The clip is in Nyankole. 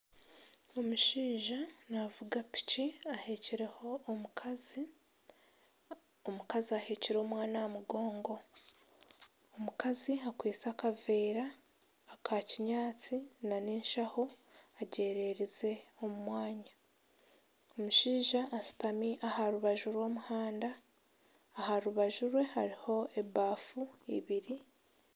Omushaija naavuga piki aheekireho omukazi. Omukaz aheekire omwana aha mugongo. Omukazi akwaitse akaveera aka kinyaatsi nana enshaho agyereerize omu mwanya. Omushaija ashutami aha rubaju rw'omuhanda. Aha rubaju rwe hariho ebaafu ibiri.